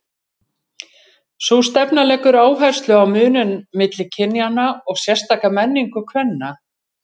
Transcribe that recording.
Sú stefna leggur áherslu á muninn milli kynjanna og sérstaka menningu kvenna.